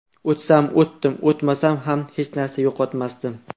O‘tsam o‘tdim, o‘tmasam ham hech narsa yo‘qotmasdim.